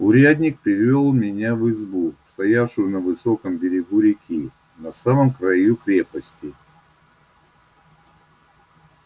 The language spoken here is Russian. урядник привёл меня в избу стоявшую на высоком берегу реки на самом краю крепости